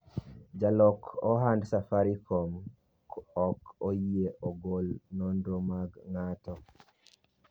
jalok ohand safarikom ok oyie ogol nonro mag ng'ato